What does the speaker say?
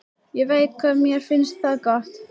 Ég veit hvað þér finnst það gott.